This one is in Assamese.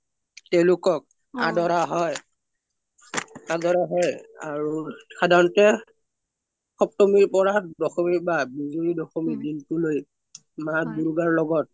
তেওলোকক আদৰা হৈ আদৰা হৈ আৰু সধৰনতে সপ্তমি পৰা দশমি বা বিজোযা দশমিলোই মা দুৰ্গাৰ লগত